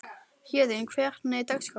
Héðinn, hvernig er dagskráin?